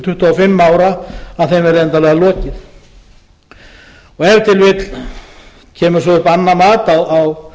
og fimm ára að þeim verði endanlega lokið ef til vill kemur svo upp annað mat á